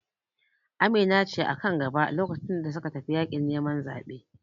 Amina ce a kan gaba lokacin da suka tafi yaƙin neman zaɓe